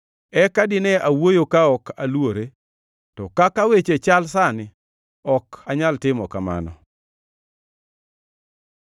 eka dine awuoyo ka ok aluore, to kaka weche chal sani, ok anyal timo kamano.”